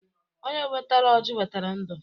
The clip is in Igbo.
Onye wetara ọjị wetara ndụ.